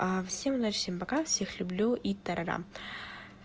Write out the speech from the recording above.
всем удачи всем пока всех люблю и та ра рам